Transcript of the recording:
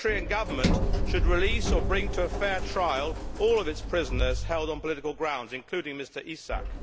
The Eritrean Government should release or bring to a fair trial all of its prisoners held on political grounds, including Mr Isaak.